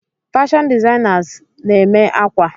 Fashion designers makes clothes.